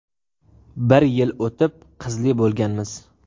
Bir yil o‘tib qizli bo‘lganmiz.